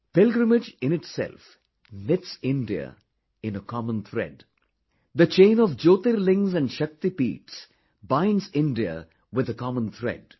Pilgrimage in itself knits India in a common thread; the chain of Jyotirlingas and Shaktipeethas binds India with the common thread